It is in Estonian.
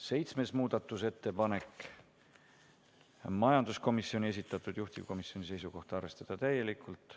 7. muudatusettepanek, majanduskomisjoni esitatud, juhtivkomisjoni seisukoht on arvestada täielikult.